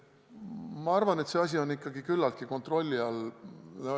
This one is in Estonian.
Ma arvan, et see asi on ikkagi küllaltki hästi kontrolli all.